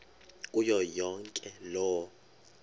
kuyo yonke loo